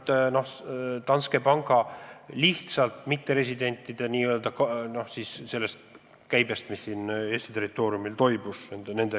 See tuleneb Danske panga mitteresidentide kahtlasest käibest Eesti territooriumil.